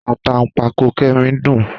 Àtàǹpàkò Kẹ́mi ń dùn-ún